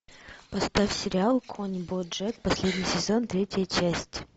поставь сериал конь боджек последний сезон третья часть